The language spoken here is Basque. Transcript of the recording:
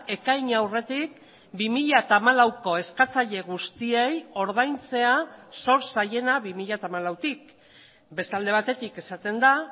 ekaina aurretik bi mila hamalauko eskatzaile guztiei ordaintzea zor zaiena bi mila hamalautik beste alde batetik esaten da